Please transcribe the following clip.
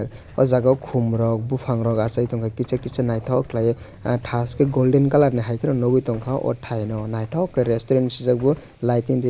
o jaga o kom rok bopang rok asai tongka kisa kisa naitok kelai oh tash ke golden colour ni hai ke no nogoi tongkha o tai no naitok ke restaurant sijago lighting ri.